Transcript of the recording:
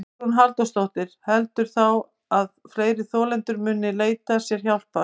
Hugrún Halldórsdóttir: Heldurðu þá að fleiri þolendur muni leita sér hjálpar?